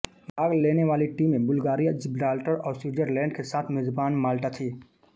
भाग लेने वाली टीमें बुल्गारिया जिब्राल्टर और स्विटजरलैंड के साथ मेजबान माल्टा थीं